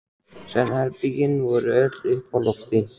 Svefnherbergin voru öll uppi á lofti.